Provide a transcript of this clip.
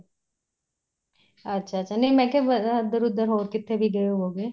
ਅੱਛਾ ਅੱਛਾ ਨਹੀਂ ਮੈਂ ਕਿਆ ਇੱਧਰ ਉੱਧਰ ਹੋਰ ਕਿੱਥੇ ਵੀ ਗਏ ਹੋਵੋਗੇ